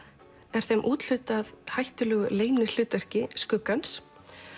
er þeim úthlutað hættulegu skuggans